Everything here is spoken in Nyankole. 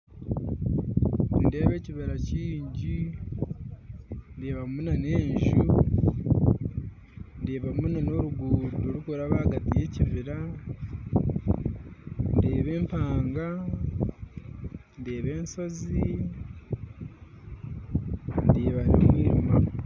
Nindeeba ekibira kingi ndeebamu na n'enju ndeebamu na n'oruguuto rukuraba hagati ya ekibira ndeeba empanga ndeeba enshozi ndeeba na omwirima